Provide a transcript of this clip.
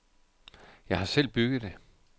Jeg har selv bygget det.